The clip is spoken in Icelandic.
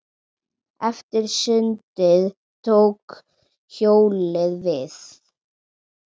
Eftir sundið tók hjólið við.